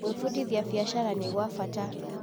Gwĩbundithia wĩgiĩ biashara nĩ gwa bata.